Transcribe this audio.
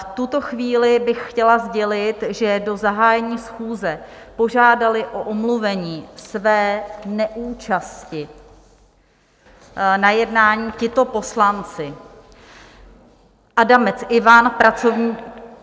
V tuto chvíli bych chtěla sdělit, že do zahájení schůze požádali o omluvení své neúčasti na jednání tito poslanci: Adamec Ivan - pracovní...